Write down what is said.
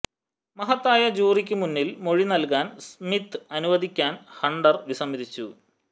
മഹത്തായ ജൂറിക്ക് മുന്നിൽ മൊഴി നൽകാൻ സ്മിത് അനുവദിക്കാൻ ഹണ്ടർ വിസമ്മതിച്ചു